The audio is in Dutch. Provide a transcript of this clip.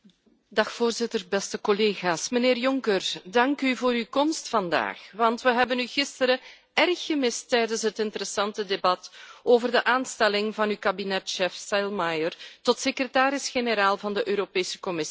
Voorzitter, beste collega's, mijnheer Juncker, dank u voor uw komst vandaag, want we hebben u gisteren erg gemist tijdens het interessante debat over de aanstelling van uw kabinetschef Selmayr tot secretaris generaal van de Europese Commissie.